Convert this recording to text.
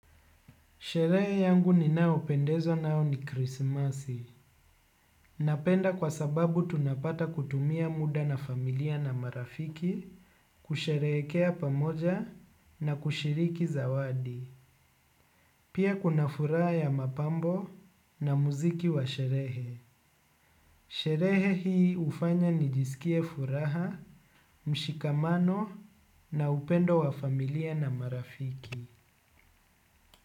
Sherehe yangu ninayopendezwa nayo ni krismasi. Napenda kwa sababu tunapata kutumia muda na familia na marafiki, kusherehekea pamoja na kushiriki zawadi. Pia kuna furaha ya mapambo na muziki wa sherehe. Sherehe hii hufanya nijisikie furaha, mshikamano na upendo wa familia na marafiki.